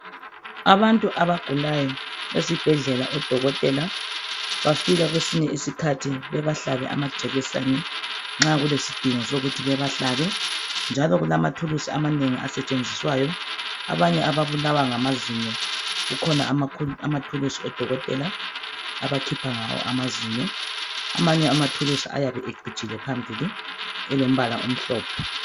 Abantu abagulayo esibhedlela, odokotela bafika kwesinye isikhathi bebahlabe amajekiseni, nxa kulesidingo sokuthi bebahlabe, njalo kulamathulusi amanengi asetshenziswayo. Abanye ababulawa ngamazinyo, kukhona amathulusi odokotela abakhipha ngawo amazinyo. Amanye amathulusi ayabe ecijile phambili njalo elombala omhlophe.